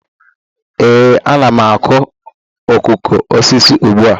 Ee, ana m akụ okoko osisi ugbu a